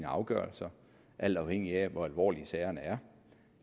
afgørelser alt afhængigt af hvor alvorlige sagerne er og